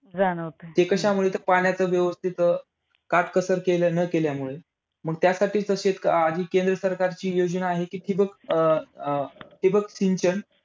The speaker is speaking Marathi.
ते कशामुळे तर पाण्याचा व्यवस्थित अं काटकसर केल्या न केल्यामुळे. मग त्यासाठीच तशी केंद्र सरकारची योजना आहे कि, ठिबक अं अं ठिबक सिंचन